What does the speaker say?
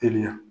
Teliya